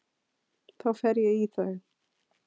Þá fer ég í þau.